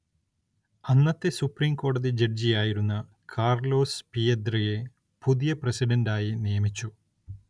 അന്നത്തെ സുപ്രീം കോടതി ജഡ്ജിയായിരുന്ന കാർലോസ് പിയദ്രയെ പുതിയ പ്രസിഡന്റായി നിയമിച്ചു.